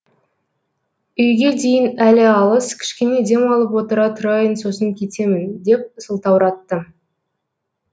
үйге дейін әлі алыс кішкене демалып отыра тұрайын сосын кетемін деп сылтауратты